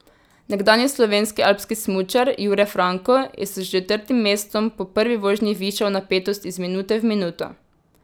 Nekdanji slovenski alpski smučar Jure Franko je s četrtim mestom po prvi vožnji višal napetost iz minute v minuto.